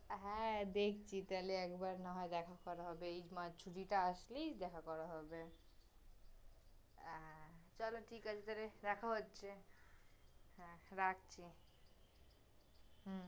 হ্যাঁ, দেখছি, তাহলে না হয় একবার দেখা করা হবে, এই মাস, ছুটিটা আসলেই দেখা করা হবে, হ্যাঁ, তাহলে ঠিক তহ রে, দেখা হচ্ছে, রাখছি, হুঁ